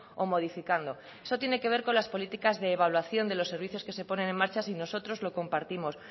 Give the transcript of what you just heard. o modificando eso tiene que ver con las políticas de evaluación de los servicios que se ponen en marcha si nosotros lo compartimos